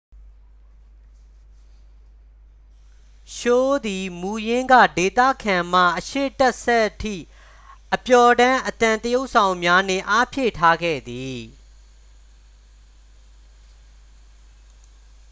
ရှိုးသည် မူရင်းက ဒေသခံမှ အရှေ့တက်ဆက်စ်ထိ အပျော်တမ်းအသံသရုပ်ဆောင်များနှင့် အားဖြည့်ထားခဲ့သည်